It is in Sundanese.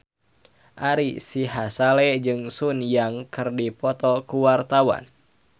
Ari Sihasale jeung Sun Yang keur dipoto ku wartawan